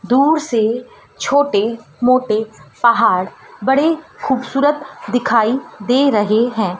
दूर से छोटे मोटे पहाड़ बड़े खूबसूरत दिखाई दे रहे हैं।